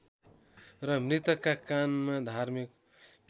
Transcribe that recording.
र मृतकका कानमा धार्मिक